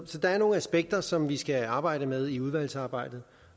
så der er nogle aspekter som vi skal arbejde med i udvalgsarbejdet